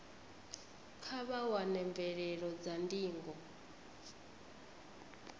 kha vha wane mvelelo dza ndingo